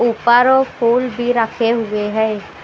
ऊपर फूल भी रखे हुए हैं ।